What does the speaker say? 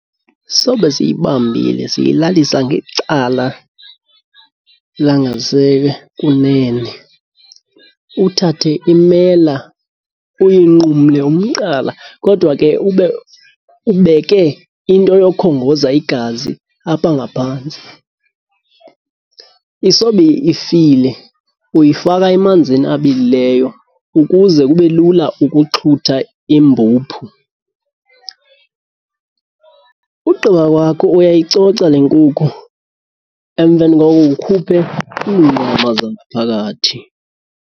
Sobe siyibambile siyilalisa ngecala langasekunene. Uthathe imela uyinqumle umqala, kodwa ke ube ubeke into yokhongoza igazi apha ngaphantsi. Isobe ifile, uyifaka emanzini abilileyo ukuze kube lula ukuxhutha imbuphu. Ugqiba kwakho uyayicoca le nkukhu, emveni koko ukhuphe iinyama zangaphakathi.